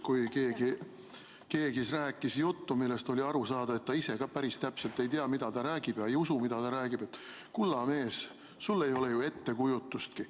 Kui keegi rääkis juttu, millest oli aru saada, et ta ise ka päris täpselt ei tea, mida ta räägib, ja ei usu, mida ta räägib, siis isa ütles, et kulla mees, sul ei ole ettekujutustki.